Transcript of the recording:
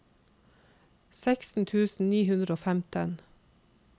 seksten tusen ni hundre og femten